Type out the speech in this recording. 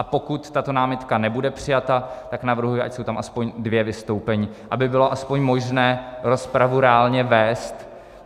A pokud tato námitka nebude přijata, tak navrhuji, ať jsou tam aspoň dvě vystoupení, aby bylo aspoň možné rozpravu reálně vést.